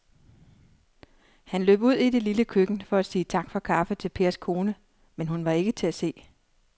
Han løb ud i det lille køkken for at sige tak for kaffe til Pers kone, men hun var ikke til at se.